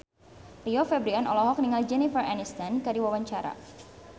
Rio Febrian olohok ningali Jennifer Aniston keur diwawancara